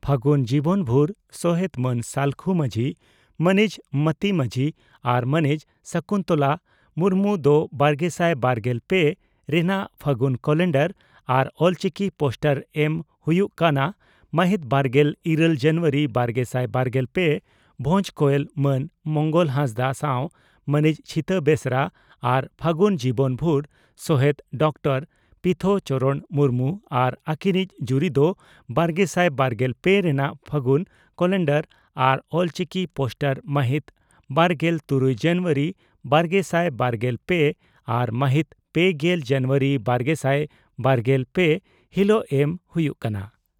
ᱯᱷᱟᱹᱜᱩᱱ ᱡᱤᱵᱚᱱ ᱵᱷᱩᱨ ᱥᱚᱦᱮᱛ ᱢᱟᱱ ᱥᱟᱞᱠᱷᱩ ᱢᱟᱹᱡᱷᱤ, ᱢᱟᱹᱱᱤᱡ ᱢᱟᱹᱛᱤ ᱢᱟᱹᱡᱷᱤ ᱟᱨ ᱢᱟᱹᱱᱤᱡ ᱥᱚᱠᱩᱱᱛᱚᱞᱟ ᱢᱩᱨᱢᱩ ᱫᱚ ᱵᱟᱨᱜᱮᱥᱟᱭ ᱵᱟᱨᱜᱮᱞ ᱯᱮ ᱨᱮᱱᱟᱜ ᱯᱷᱟᱹᱜᱩᱱ ᱠᱟᱞᱮᱱᱰᱟᱨ ᱟᱨ ᱚᱞᱪᱤᱠᱤ ᱯᱳᱥᱴᱟᱨ ᱮᱢ ᱦᱩᱭᱩᱜ ᱠᱟᱱᱟ ᱢᱟᱦᱤᱛ ᱵᱟᱨᱜᱮᱞ ᱤᱨᱟᱹᱞ ᱡᱟᱱᱩᱣᱟᱨᱤ ᱵᱟᱨᱜᱮᱥᱟᱭ ᱵᱟᱨᱜᱮᱞ ᱯᱮ ᱵᱷᱚᱸᱡᱽ ᱠᱚᱭᱮᱞ ᱢᱟᱱ ᱢᱚᱝᱜᱚᱞ ᱦᱟᱸᱥᱫᱟᱜ ᱥᱟᱣ ᱢᱟᱹᱱᱤᱡ ᱪᱷᱤᱛᱟ ᱵᱮᱥᱨᱟ ᱟᱨ ᱯᱷᱟᱹᱜᱩᱱ ᱡᱤᱵᱚᱱ ᱵᱷᱩᱨ ᱥᱚᱦᱮᱛ ᱰᱚᱠᱴᱚᱨ ᱯᱤᱛᱷᱚ ᱪᱚᱨᱚᱬ ᱢᱩᱨᱢᱩ ᱟᱨ ᱟᱹᱠᱤᱱᱤᱡ ᱡᱩᱨᱤ ᱫᱚ ᱵᱟᱨᱜᱮᱥᱟᱭ ᱵᱟᱨᱜᱮᱞ ᱯᱮ ᱨᱮᱱᱟᱜ ᱯᱷᱟᱹᱜᱩᱱ ᱠᱟᱞᱮᱱᱰᱟᱨ ᱟᱨ ᱚᱞᱪᱤᱠᱤ ᱯᱳᱥᱴᱟᱨ ᱢᱟᱦᱤᱛ ᱵᱟᱨᱜᱮᱞ ᱛᱩᱨᱩᱭ ᱡᱟᱱᱩᱣᱟᱨᱤ ᱵᱟᱨᱜᱮᱥᱟᱭ ᱵᱟᱨᱜᱮᱞ ᱯᱮ ᱟᱨ ᱢᱟᱦᱤᱛ ᱯᱮᱜᱮᱞ ᱡᱟᱱᱩᱣᱟᱨᱤ ᱵᱟᱨᱜᱮᱥᱟᱭ ᱵᱟᱨᱜᱮᱞ ᱯᱮ ᱦᱤᱞᱚᱜ ᱮᱢ ᱦᱩᱭᱩᱜ ᱠᱟᱱᱟ ᱾